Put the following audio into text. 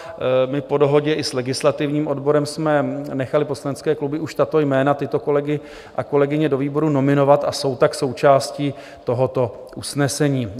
My po dohodě i s legislativním odborem jsme nechali poslanecké kluby už tato jména, tyto kolegy a kolegyně do výborů nominovat a jsou tak součástí tohoto usnesení.